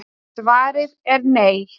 svarið er nei